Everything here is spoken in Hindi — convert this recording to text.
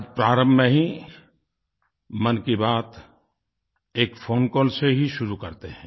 आज प्रारम्भ में ही मन की बात एक फ़ोनकॉल से ही शुरू करते हैं